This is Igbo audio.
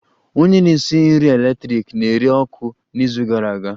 Onye na-esi nri eletrik na-ere ọkụ n'izu gara aga